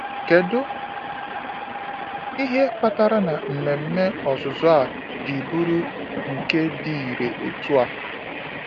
Kedu ihe kpatara na mmemme ọzụzụ a ji bụrụ nke dị irè otú ahụ?